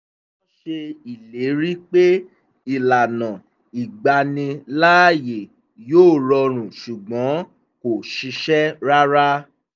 wọ́n ṣe ìlérí pé ìlànà ìgbaniláàyè yóò rọrùn ṣùgbọ́n kò ṣiṣẹ́ rárá